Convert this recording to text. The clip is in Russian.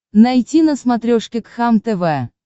найти на смотрешке кхлм тв